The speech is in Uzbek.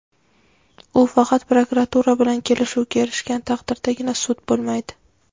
u faqat prokuratura bilan kelishuvga erishgan taqdirdagina sud bo‘lmaydi.